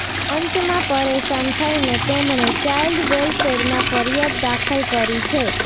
અંતમાં પરેશાન થઈને તેમણે ચાઈલ્ડ વેલ્ફેરમાં ફરિયાદ દાખલ કરી છે